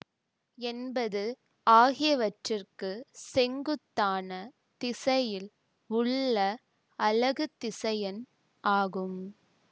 என்பது ஆகியவற்றுக்குச் செங்குத்தான திசையில் உள்ள அலகு திசையன் ஆகும்